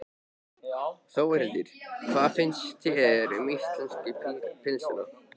Þórhildur: Hvað finnst þér um íslensku pylsuna?